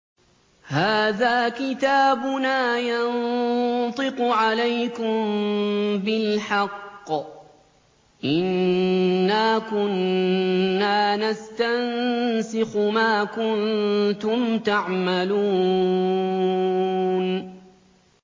هَٰذَا كِتَابُنَا يَنطِقُ عَلَيْكُم بِالْحَقِّ ۚ إِنَّا كُنَّا نَسْتَنسِخُ مَا كُنتُمْ تَعْمَلُونَ